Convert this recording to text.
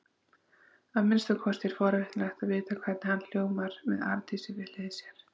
Að minnsta kosti er forvitnilegt að vita hvernig hann hljómar með Arndísi við hlið sér.